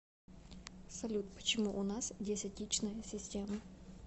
салют почему у нас десятичная система